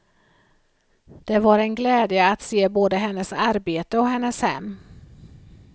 Det var en glädje att se både hennes arbete och hennes hem.